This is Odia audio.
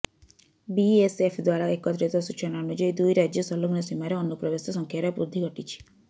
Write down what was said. ବିଏସଏଫ ଦ୍ବାରା ଏକତ୍ରିତ ସୂଚନା ଅନୁଯାୟୀ ଦୁଇ ରାଜ୍ୟ ସଂଲଗ୍ନ ସୀମାରେ ଅନୁପ୍ରବେଶ ସଂଖ୍ୟାରେ ବୃଦ୍ଧି ଘଟିଛି